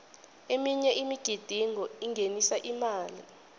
eminye imigidingo ingenisa imali